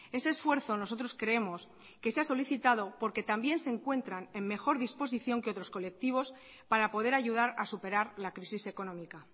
ese esfuerzo nosotros creemos que se ha solicitado porque también se encuentran en mejor disposición que otros colectivos para poder ayudar a superar la crisis económica